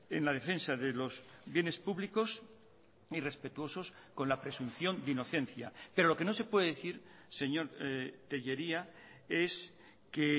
en la defensa de los bienes públicos ni respetuosos con la presunción de inocencia pero lo que no se puede decir señor tellería es que